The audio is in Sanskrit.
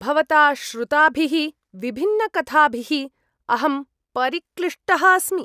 भवता श्रुताभिः विभिन्नकथाभिः अहं परिक्लिष्टः अस्मि।